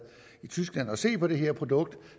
i tyskland for at se på det her produkt